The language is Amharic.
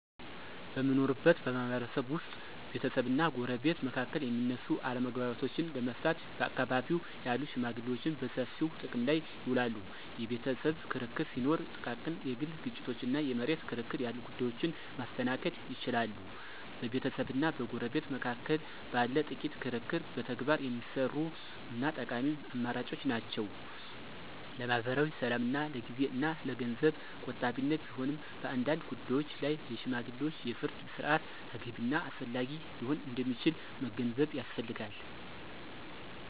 በምንኖርበት ማህበረሰብ ውስጥ ቤተሰብና ጎረቤት መካከል የሚነሱ አለመግባባቶችን ለመፍታት በአካባቢው ያሉ ሽመግሌዎችን በሰፊው ጥቅም ላይ ይውላሉ። የቤተሰብ ክርክር ሲኖር፣ ጥቃቅን የግል ግጭቶች እና የመሬት ክርክር ያሉ ጉዳዮችን ማስተናገድ ይችላሉ። በቤተሰብና በጎረቤት መካከል ባለ ጥቂት ክርክር በተግባር የሚሰሩ እና ጠቃሚ አማራጮች ናቸው። ለማኅበራዊ ሰላምና ለጊዜ እና ለገንዘብ ቆጣቢነት ቢሆንም፣ በአንዳንድ ጉዳዮች ላይ የሽማግሌዎች የፍርድ ሥርዓት ተገቢ እና አስፈላጊ ሊሆን እንደሚችል መገንዘብ ያስፈልጋል።